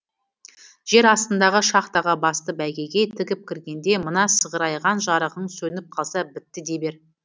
жер астындағы шахтаға басты бәйгеге тігіп кіргенде мына сығырайған жарығың сөніп қалса бітті дей бер